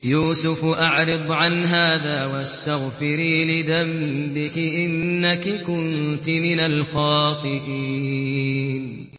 يُوسُفُ أَعْرِضْ عَنْ هَٰذَا ۚ وَاسْتَغْفِرِي لِذَنبِكِ ۖ إِنَّكِ كُنتِ مِنَ الْخَاطِئِينَ